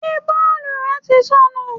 Ṣé bọ́ọ̀lù rẹ tí sọnù?